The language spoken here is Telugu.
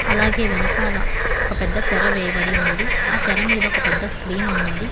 అలాగే వెనకాల ఒక పెద్ద తెర వేయబడి ఉన్నది ఆ తెర మీద ఒక పెద్ద స్క్రీన్ ఉన్నది.